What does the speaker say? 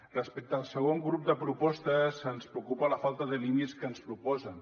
respecte al segon grup de propostes ens preocupa la falta de línies que ens proposen